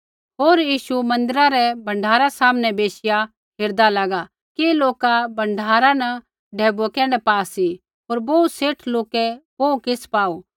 होर यीशु मन्दिरा रै भण्डारा सामनै बैशिया हेरदा लागा कि लोक भण्डारा न ढैबुऐ कैण्ढै पा सी होर बोहू सेठ लौके बोहू किछ़ पाऊ